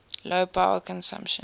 low power consumption